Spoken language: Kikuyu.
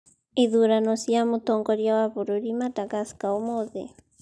ithurano cia mũtongoria wa bũrũri madagascar ũmũthi